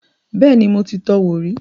Bẹ́ẹ̀ni, mo ti tọ wò rí